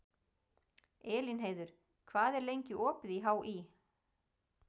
Elínheiður, hvað er lengi opið í HÍ?